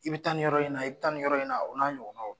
I bɛ taa nin yɔrɔ in ɲɛna i tan nin yɔrɔ in na o n'a ɲɔgɔnnaw